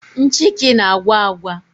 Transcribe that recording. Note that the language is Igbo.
Nchịkị na-agwa agwa